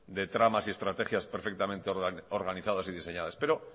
de tramas y estrategias perfectamente organizadas y diseñadas pero